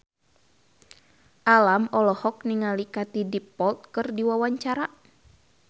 Alam olohok ningali Katie Dippold keur diwawancara